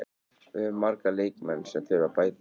Við höfum marga leikmenn sem þurfa að bæta sig.